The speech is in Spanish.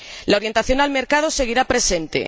La orientación al mercado seguirá presente.